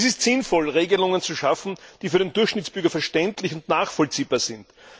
Es ist sinnvoll, Regelungen zu schaffen, die für den Durchschnittsbürger verständlich und nachvollziehbar sind.